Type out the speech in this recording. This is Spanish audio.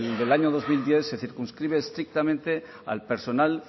del año dos mil diez se circunscribe estrictamente al personal